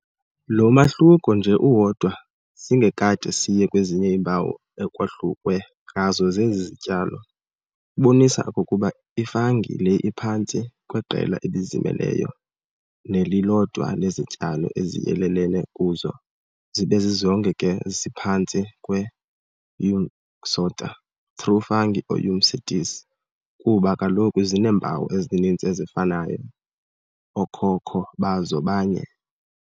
Lo mahluko nje uwodwa singekade siye kwezinye iimpawu ekwahlukwe ngazo zezi zityalo, ubonisa okokuba i-fungi le iphantsi kweqela elizimeleyo nelilodwa lezityalo eziyelelene kuzo, zibe zizonke ke ziphantsi kwe-Eumycota, true fungi or Eumycetes, kuba kaloku zineempawu ezininzi ezifanayo, ookhokho bazo banye.